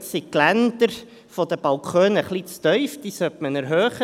Dort sind die Geländer der Balkone etwas zu tief, und man sollte sie erhöhen.